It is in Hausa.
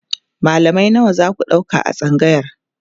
mallamai nawa zaku ɗauka a tsangayar?